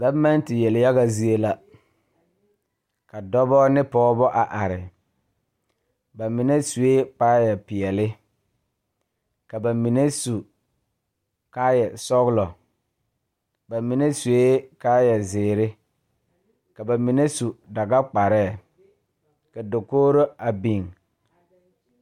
Gɔvemɛnte yeliyaga zie la ka dɔbɔ ne pɔɔbɔ a are ba mine suee kaayɛ peɛle ka ba mine su kaayɛ sɔglɔ ba mine suee kaayɛ zeere ka ba mine su dagakparɛɛ ka dakogro a biŋ.